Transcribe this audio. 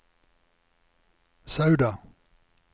Sauda